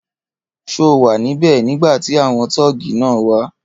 Ṣé o wà níbè nígbàtí àwọn tọ́ọ́gì náà wá